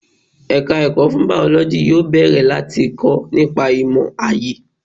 Ẹ̀ka ẹ̀kọ́ fún Bàọ́lọ́jì yóò bẹ̀rẹ̀ láti kọ́ nípa ìmò aayé.